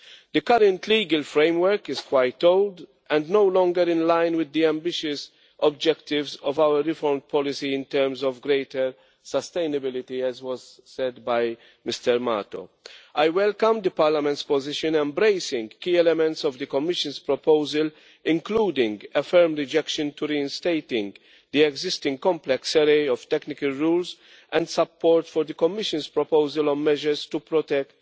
The current legal framework is quite old and no longer in line with the ambitious objectives of our reform policy in terms of greater sustainability, as Mr Mato said. I welcome Parliament's position, which embraces key elements of the Commission's proposal, including a firm rejection of reinstating the existing complex array of technical rules and support for the Commission's proposal on measures to protect